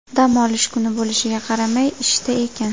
Dam olish kuni bo‘lishiga qaramay ishda ekan.